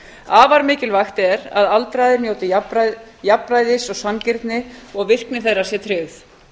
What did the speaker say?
afar mikilvægt er að aldraðir njóti jafnræðis og sanngirni og að virkni þeirra sé tryggð